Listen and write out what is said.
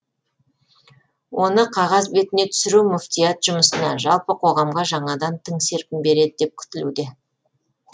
оны қағаз бетіне түсіру мүфтият жұмысына жалпы қоғамға жаңадан тың серпін береді деп күтілуде